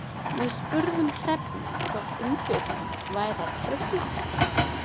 Við spurðum Hrefnu hvort umfjöllunin væri að trufla hana?